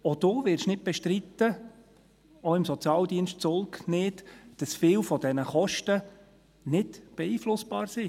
Auch Sie werden nicht bestreiten – auch nicht im Sozialdienst Zulg –, dass viele dieser Kosten nicht beeinflussbar sind.